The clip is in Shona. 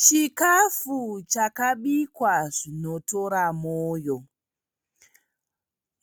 Chikafu chakabikwa zvinotora moyo.